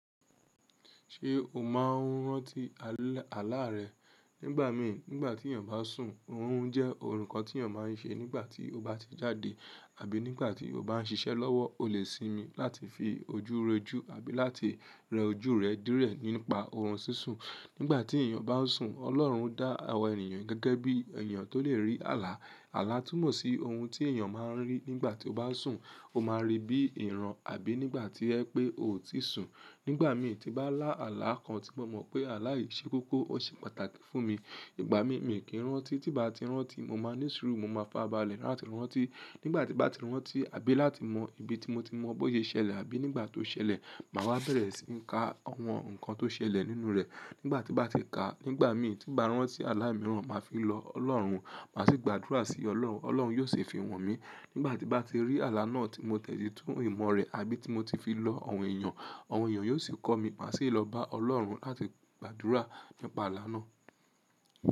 Ṣé o máa ń rántí àlá rẹ? Nígbà mi, nígbà tí èèyàn bá sùn, òorun jẹ́ ǹkan tí èèyàn máa n ṣe nígbà tí ó bá ti jáde àbí nígbà tí ó bá n ṣiṣẹ́ lọ́wọ́. O lè sinmi láti fi ojú re jú àbí láti rẹ ojú rẹ díẹ̀ nípa oorun sísun. Nígbà tí èèyàn bá n sùn, Ọlọ́run dá àwọn ènìyàn gẹ́gẹ́ bí èèyàn tó lè rí àlá. Àlá túmọ̀ sí ohun tí èèyàn máa ń rí nígbà tí ó bá sùn, ó máa ri bí ìran àbí nígbà tí ẹ pé ò ti sùn. Nígbà mi tí n bá lá àlá kan tí mo mọ̀ pé àlá yìí ṣe kókó, o ṣe pàtàkì fún mi. Ìgbà mi, mi kì rántí, tí bá n ti rántí, mo máa ní sùúrù, mo máa fàra bàlẹ̀ láti rántí. Nígbà tí n bá ti rántí àbí láti mọ ibi tí mo ti mọ bó ṣe ṣẹlẹ̀ àbí nígbà tó ṣẹlẹ̀, màá wá bẹ̀rẹ̀ sí ka àwọn ǹkan tó ṣẹlẹ̀ nínú rẹ̀. Nígbà tí bá ti kà, nígbà mi tí n bá rántí àlá mìíràn, màá fi lọ Ọlọ́run, màá sì gbàdúrà sí Ọlọ́run. Ọlọ́run yiò ṣi fi han mi. Nígbà tí n bá ti rí àlá náà tí mo dẹ̀ tú ìmọ̀ rẹ̀ àbí tí mo ti fi lọ àwọn èèyàn, àwọn èèyàn yiò sì kọ́ mi, màá sì lọ bá Ọlọ́run láti gbàdúrà nípa àlá náà.